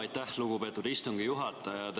Aitäh, lugupeetud istungi juhataja!